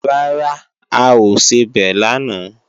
Rárá, a ò sebẹ̀ lánàá